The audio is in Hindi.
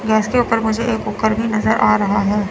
गैस के ऊपर मुझे एक कुकर भी नजर आ रहा है।